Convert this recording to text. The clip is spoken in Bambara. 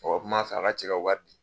O kuma sarala ka cɛ waati di